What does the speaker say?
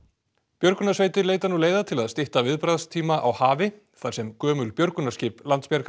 björgunarsveitir leita nú leiða til að stytta viðbragðstíma á hafi þar sem gömul björgunarskip Landsbjargar